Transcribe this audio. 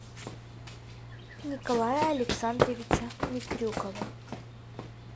николая александровича микрюкова